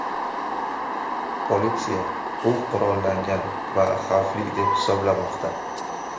Politsiya u qurollangan va xavfli deb hisoblamoqda.